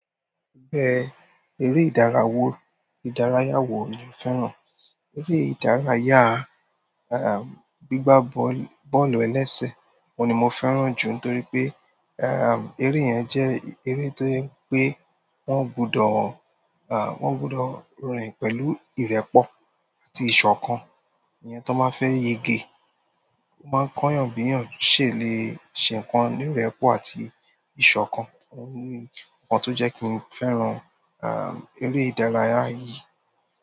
Gbẹ̀ eré ìdárayá wo ni o fẹ́ràn? Eré ìdárayá, um, gbígbá bọ́ọ̀lù-bọ́ọ̀lù ẹlẹ́sẹ̀ ni mo fẹ́ràn jù nítorí pé, um, eré yẹn jẹ́ eré tó jẹ́ pé wọ́n gbudọ̀ um, wọ́n gbudọ̀ rìn pẹ̀lú ìrẹ́pọ̀ àti ìṣọ̀kan. Ẹni tí wọ́n bá fẹ́ ye ge, wọ́n máa ń kọ́ èèyàn bí èèyàn ṣè lè ṣe nǹkan ní ìrẹ́pọ̀ àti ìṣọ̀kan. Òhun ni ǹkan tó jẹ́ kí n fẹ́ràn, um, eré ìdárayá yìí.